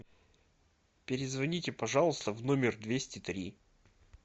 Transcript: перезвоните пожалуйста в номер двести три